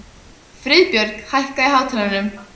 Friðbjörg, hækkaðu í hátalaranum.